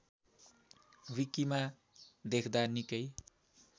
विकिमा देख्दा निकै